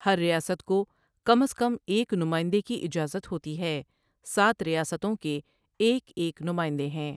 ہر ریاست کو کم از کم ایک نمائندے کی اجازت ہوتی ہے سات ریاستوں کے ایک ایک نمائندے ہیں ۔